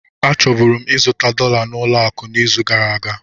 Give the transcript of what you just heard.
Achọburu m ịzụta dollar na ụlọ akụ n'izu gara aga.